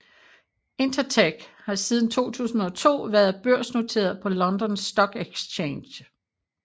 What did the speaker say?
Intertek har siden 2002 været børsnoteret på London Stock Exchange